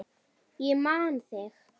Ég man þig!